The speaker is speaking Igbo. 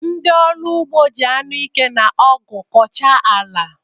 Ndị ọrụ ugbo ji anụike na ọgụ kwọchaa ala.